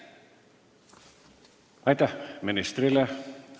Aitäh ministrile!